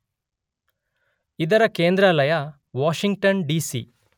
ಇದರ ಕೇಂದ್ರಾಲಯ Washington DC.